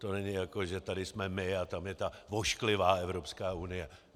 To není, jako že tady jsme my a tam je ta ošklivá Evropská unie.